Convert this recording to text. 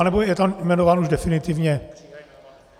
Anebo je tam jmenován už definitivně?